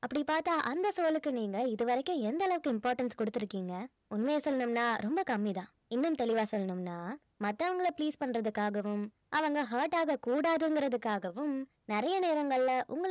அப்படி பார்த்தா அந்த சூழலுக்கு நீங்க இது வரைக்கும் எந்த அளவுக்கு importance குடுத்திருக்கீங்க உண்மைய சொல்லனும்னா ரொம்ப கம்மி தான் இன்னும் தெளிவா சொல்லனும்னா மத்தவங்கள please பண்றதுக்காகவும் அவங்க hurt ஆகக் கூடாதுங்கறதுக்காகவும் நறைய நேரங்கள்ல